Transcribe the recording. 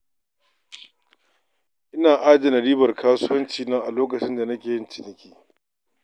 Ina adana ribar kasuwancina a lokacin da nake yin ciniki sosai.